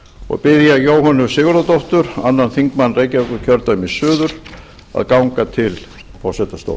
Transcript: og bið ég jóhönnu sigurðardóttur annar þingmaður reykjavíkurkjördæmis suður að ganga til forsetastóls